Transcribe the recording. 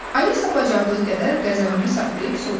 Alisa bacardığı qədər qəzəbini saxlayıb soruşdu.